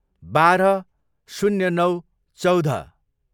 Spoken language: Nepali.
बाह्र, शून्य नौ, चौध